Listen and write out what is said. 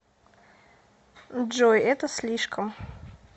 джой это слишком